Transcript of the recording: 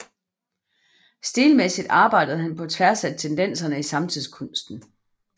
Stilmæssigt arbejdede han på tværs af tendenserne i samtidskunsten